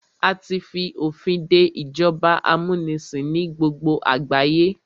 A tí fi òfin dé ìjọba amúnisìn ní gbogbo àgbáyé.